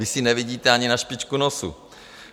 Vy si nevidíte ani na špičku nosu.